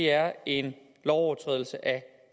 er en lovovertrædelse af